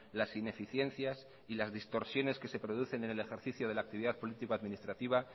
las ineficiencias y las distorsiones que se producen en el ejercicio de la actividad político administrativa